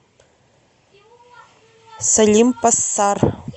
салим пассар